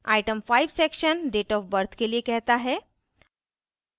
item 5 section date of birth जन्म तारीख के लिए कहता है